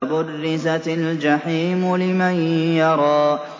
وَبُرِّزَتِ الْجَحِيمُ لِمَن يَرَىٰ